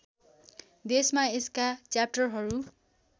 देशमा यसका च्याप्टरहरू